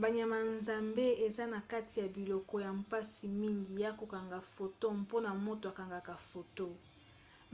banyama ya zamba eza na kati ya biloko ya mpasi mingi ya kokanga foto mpona moto akangaka foto